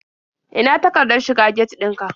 Ina takardar shiga get ɗin ka?